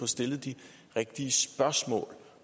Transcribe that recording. stillet de rigtige spørgsmål